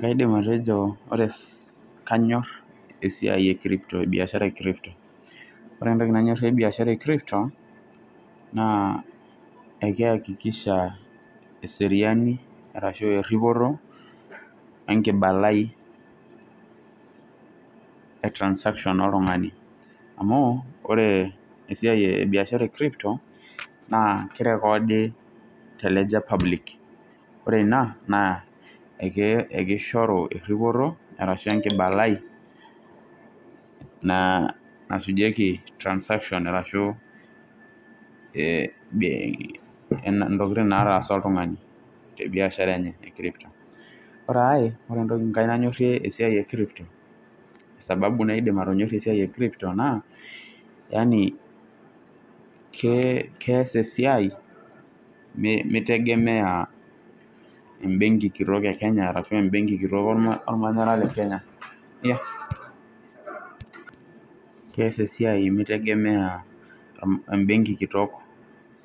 Kaidim atejo kanyor esiai ee Crypto oree entoki nanyorie biashara ee Crypto naa ekeyakikisha eripoto wooo enkibalai ooo Transaction oltung'ani amuu oree esiai ee biashara ee ]Crypto naa keirokodi tee Ledger ee Public oree inaa naa ishoru eripoto ashuu enkibalai nasujieki Transaction ashuu intokitin nataasa oltung'ani te biashara enye , oree sii ai natonyorie te Crypto sababu naidim atonyorie Crypto naa keyas esiai meitegemea ebenki kitok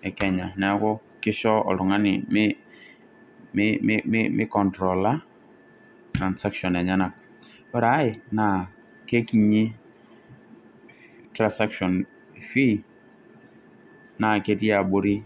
eekenya neaku kisho oltung'ani meicontola Transaction enyenak ,oree ai naa kekinyi Transaction enye naa ketii abori.